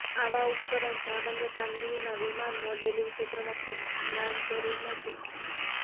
આવા ઉપકરણ સામાન્ય કામગીરીમાં વિમાન મોડેલિંગ ક્ષેત્રમાં ખૂબ જ્ઞાન જરૂર નથી